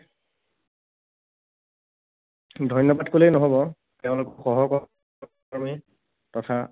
ধন্যবাদ কলেই নহব, তেওঁলোকৰ সহকৰ্মী তথা